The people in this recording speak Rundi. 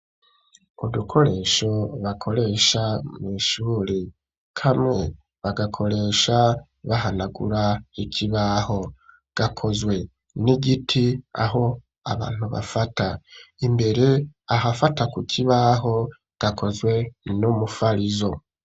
Udukoresho bakoresha mw'ishuri kamwe bagakoresha bahanagura ikibaho gakozwe n'igiti aho abantu bafata imbere ahafata ku kibaho gakozwe n'umufarizo.